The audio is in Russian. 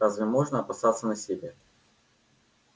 разве можно опасаться насилия